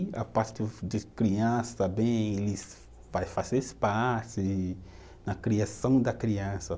E a parte de criança também, ele vai fazer parte da criação da criança.